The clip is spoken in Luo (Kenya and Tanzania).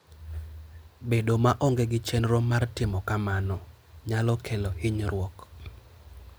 Bedo maonge gi chenro mar timo kamano nyalo kelo hinyruok.